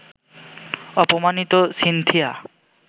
অপমাণিত Cynthia